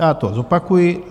Já to zopakuji.